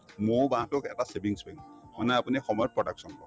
মৌ বাহতোক এটা savings bank মানে আপুনি সময়ত production পাব